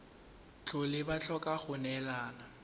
tlhole ba tlhoka go neelana